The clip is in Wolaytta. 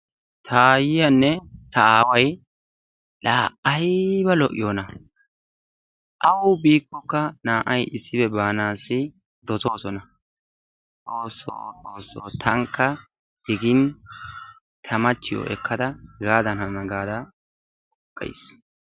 Taayiyanne ta aaway la aybba lo''iyoona! awu biikokka naa''ay issippe banassi doosossona. la Xoosso Xoosso ! tankka digin ta machchiyo ekkada hegadan hanana gaada qopays.